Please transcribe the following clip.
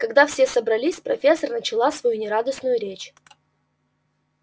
когда все собрались профессор начала свою нерадостную речь